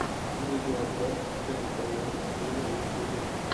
видеообзор дженнифер лопес виво в ютьюбе